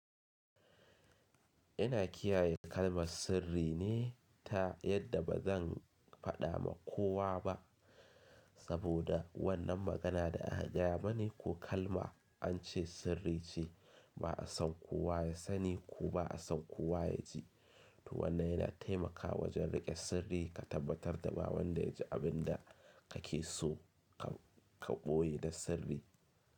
Ina kiyaye kalmar sirri ne ta yadda ba zan faɗa ma kowa ba. Saboda wannan magana da aka gaya mani ko kalma an ce sirri ce ba a son kowa ya sani ko ba a son kowa ya ji. To wannan yana taimakawa wajen riƙe sirri ka tabbatar da ba wanda ya ji abin da kake so ka boye da sirri.